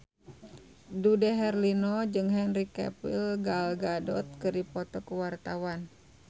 Dude Herlino jeung Henry Cavill Gal Gadot keur dipoto ku wartawan